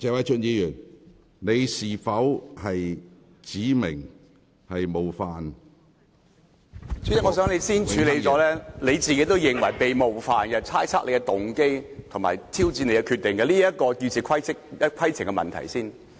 主席，我想你先處理，你自己認為被冒犯，被人猜測你的動機及挑戰你的決定這項議事規程的問題。